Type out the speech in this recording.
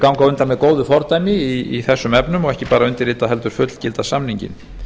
ganga undan með góðu fordæmi í þessum efnum og ekki bara undirrita heldur fullgilda samninginn